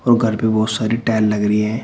और घर पे बहोत सारी टाइल लग रही हैं।